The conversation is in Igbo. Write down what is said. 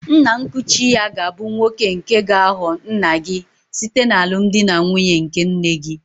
Nna nkuchi-ya gābu nwoke nke gāghọ nna-gi site n'alụmdi na nwunye nke nne-gi.